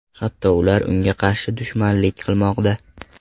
Hatto ular unga qarshi dushmanlik qilmoqda.